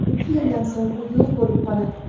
Ikki yildan so‘ng u yo‘q bo‘lib qoladi.